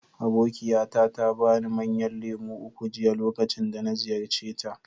Abokiyata ta ba ni manyan lemu uku jiya lokacin da na ziyarce ta.